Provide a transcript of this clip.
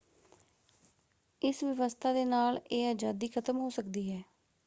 ਇਸ ਵਿਵਸਥਾ ਦੇ ਨਾਲ ਇਹ ਆਜ਼ਾਦੀ ਖ਼ਤਮ ਹੋ ਸਕਦੀ ਹੈ।